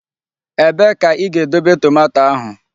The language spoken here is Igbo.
Ebee ka ị ga-edobe tomato ahụ?